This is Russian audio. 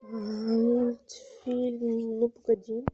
мультфильм ну погоди